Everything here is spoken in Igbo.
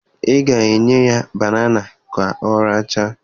Ị ga-enye ya banana ka ọ rachaa?